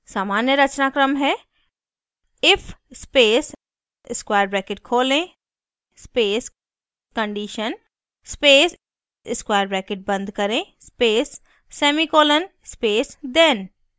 सामान्य रचनाक्रम है: if space square bracket खोलें space condition space square bracket बंद करें space semicolon space then